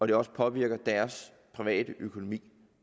det også påvirker deres private økonomi